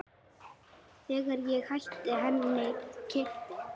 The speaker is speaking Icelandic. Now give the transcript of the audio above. Þegar ég hætti henni keypti